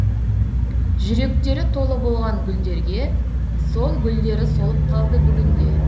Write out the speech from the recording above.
жүректері толы болған гүлдерге сол гүлдері солып қалды бүгінде